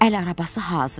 Əl arabası hazır idi.